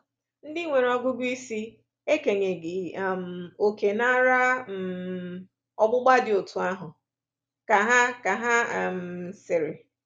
Ndị nwere ọgụgụ isi… ekenyeghị um òkè n’ara um ọgbụgba dị otú ahụ,” ka ha ka ha um sịrị.